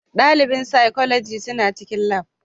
Dalibin Physiology suna cikin Lab